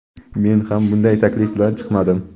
Men ham bunday taklif bilan chiqmadim.